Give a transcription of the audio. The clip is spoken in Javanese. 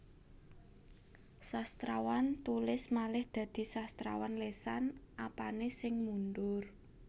Sastrawan tulis malih dadi sastrawan lesan Apane sing mundur